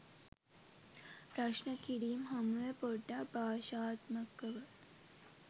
ප්‍රශ්න කිරීම් හමු වේ පොඩ්ඩක් භාෂාත්මකව